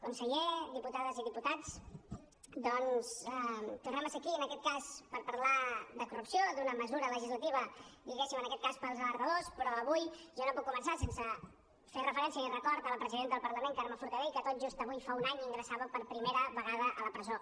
conseller diputades i diputats doncs tornem a ser aquí en aquest cas per parlar de corrupció d’una mesura legislativa diguéssim en aquest cas per als alertadors però jo avui no puc començar sense fer referència i tenir un record per la presidenta del parlament carme forcadell que tot just avui fa un any ingressava per primera vegada a la presó